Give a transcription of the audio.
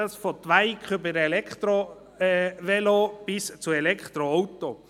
Das geht von Twikes, über Elektrovelos, bis zu Elektroautos.